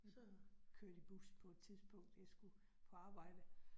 Så kørte i bus på et tidspunkt, jeg skulle på arbejde